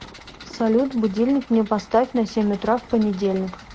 салют будильник мне поставь на семь утра в понедельник